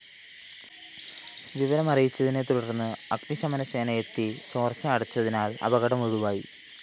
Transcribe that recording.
വിവരമറിയച്ചതിനെതുടര്‍ന്ന് അഗ്നിശമനസേനയെത്തിയ ചോര്‍ച്ച അടച്ചതിനാല്‍ അപകടം ഒഴിവായി